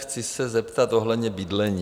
Chci se zeptat ohledně bydlení.